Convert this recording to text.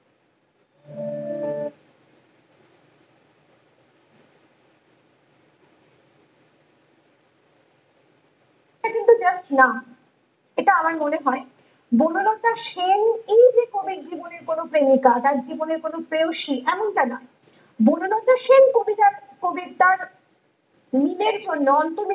এটা আমার মনে হয় বনলতা সেন ই যে কবির জীবনে কোনো প্রেমিকা তার জীবনের কোনো প্রেয়সী এমনটা না বনলতা সেন কবিতার কবি তার নিজের জন্য